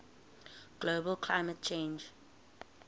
global climate change